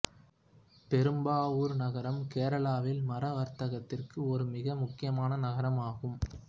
பெரும்பாவூர் நகரம் கேரளாவில் மர வர்த்தகத்திற்கு ஒரு மிக முக்கியமான நகரமாகும்